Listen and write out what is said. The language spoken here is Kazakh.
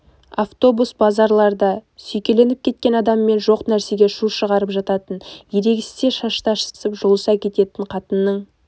автобус базарларда сүйкеніп кеткен адаммен жоқ нәрсеге шу шығарып жататын ерегессе шаштасып жұлыса кететін қатынның